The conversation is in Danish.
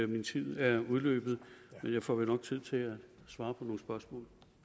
min tid er udløbet men jeg får vel nok tid til at svare på nogle spørgsmål